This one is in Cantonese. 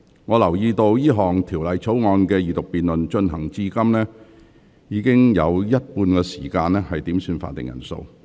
我留意到這項條例草案的二讀辯論進行至今，已花了近一半時間點算法定人數。